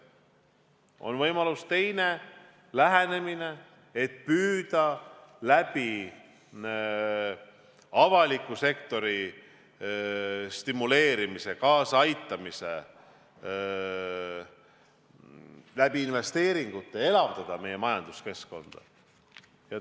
On võimalik teine lähenemine, et püüda avaliku sektori stimuleerimise ja kaasaaitamisega, investeeringutega elavdada meie majanduskeskkonda.